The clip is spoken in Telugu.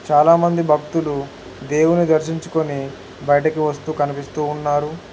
చాలామంది భక్తులు దేవుని దర్శించుకుని బయటకు వస్తూ కనిపిస్తూ ఉన్నారు.